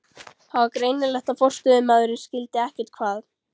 Það var greinilegt að forstöðumaðurinn skildi ekkert hvað